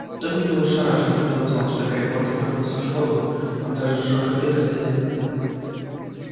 добби был ошарашен когда узнал что гарри поттер вернулся в школу он даже сжёг обед хозяина